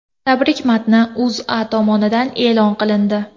Tabrik matni O‘zA tomonidan e’lon qilindi .